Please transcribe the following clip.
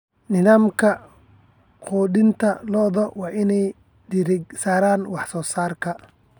Nidaamka quudinta lo'du waa inuu diiradda saaraa wax-soo-saarka.